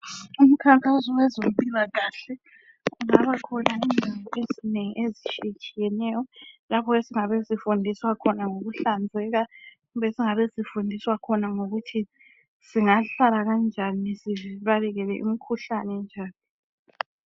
Umkhankaso wezempilakahle ungabakhona indawo ezinengi ezitshiyetshiyeneyo lapho esingabe esifundiswa khona ngokuhlanzeka kumbe esingabe sifundiswa khona ngokuthi singahlala kanjani sibalekele imikhuhlane njani.